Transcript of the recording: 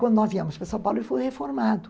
Quando nós viemos para São Paulo, ele foi reformado.